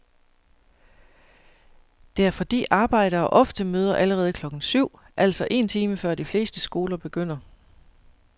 Det er fordi arbejdere ofte møder allerede klokken syv, altså en time før de fleste skoler begynder.